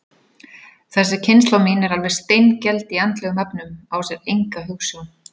Þessi kynslóð mín er alveg steingeld í andlegum efnum, á sér enga hugsjón.